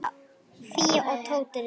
Fía og Tóti rifust.